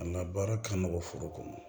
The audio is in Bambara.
An ka baara ka nɔgɔ foro kɔnɔ